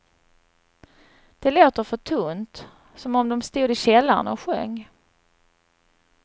Det låter för tunt, som om de stod i källaren och sjöng.